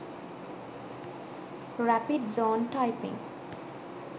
rapid zone typing